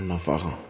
A nafa